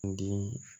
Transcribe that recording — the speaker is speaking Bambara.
Di